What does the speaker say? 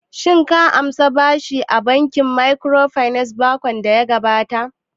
Shin ka ansa bashi daga bankin microfinance makon daya gabata?